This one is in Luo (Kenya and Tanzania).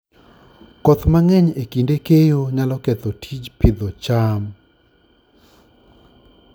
Koth mang'eny e kinde keyo nyalo ketho tij Pidhoo cham